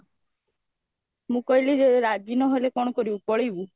ମୁଁ କହିଲି ଯେ ରାଜି ନହେଲେ କଣ କରିବୁ ପଳେଇବୁ?